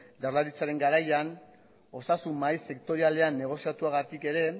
jaurlaritzaren garaian osasun mahai sektorialean negoziatugatik ere